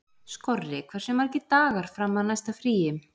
Skorri, hversu margir dagar fram að næsta fríi?